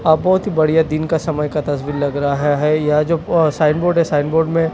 अ बहोत बढ़िया दिन का समय का तस्वीर लग रहा है यह जो साइड बोर्ड है साइड बोर्ड में--